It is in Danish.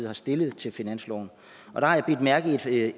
har stillet til finansloven der har jeg bidt mærke